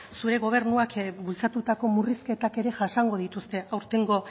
zure gobernuak bultzatutako murrizketak ere jasango dituzte aurtengo